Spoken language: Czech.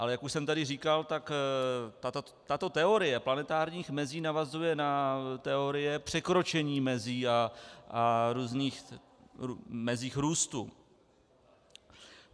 Ale jak už jsem tady říkal, tak tato teorie planetárních mezí navazuje na teorie překročení mezí a různých mezí růstu.